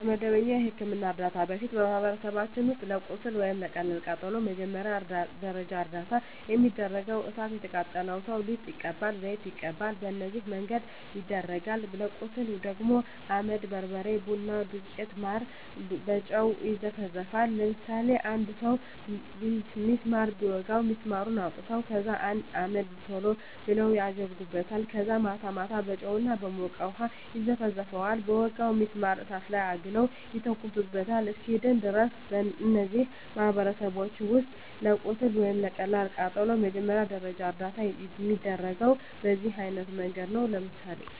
ከመደበኛ የሕክምና ዕርዳታ በፊት፣ በማኅበረሰባችን ውስጥ ለቁስል ወይም ለቀላል ቃጠሎ መጀመሪያ ደረጃ እርዳታ የሚደረገው እሣት የቃጠለው ሠው ሊጥ ይቀባል፤ ዘይት ይቀባል፤ በነዚህ መንገድ ይደረጋል። ለቁስል ደግሞ አመድ፤ በርበሬ፤ ቡና ዱቄት፤ ማር፤ በጨው መዘፍዘፍ፤ ለምሳሌ አንድ ሠው ቢስማር ቢወጋው ቢስማሩን አውጥተው ከዛ አመድ ቶሎ ብለው አደርጉበታል ከዛ ማታ ማታ በጨው እና በሞቀ ውሀ ይዘፈዝፈዋል በወጋው ቢስማር እሳት ላይ አግለው ይተኩሱታል እስኪድን ድረስ። እነዚህ በማኅበረሰባችን ውስጥ ለቁስል ወይም ለቀላል ቃጠሎ መጀመሪያ ደረጃ እርዳታ የሚደረገው በዚህ አይነት መንገድ ነው። ለምሳሌ